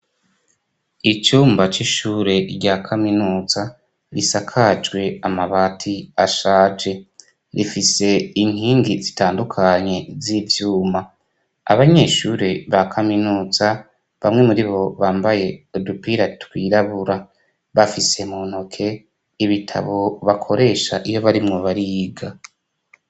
Icumba c'ishure rya kaminuza risakajwe amabati ashaje, rifise inkingi zitandukanye z'ivyuma. Abanyeshure ba kaminuza bamwe muribo bambaye udupira twirabura, bafise mu ntoke ibitabo bakoresha iyo barimwo bariga.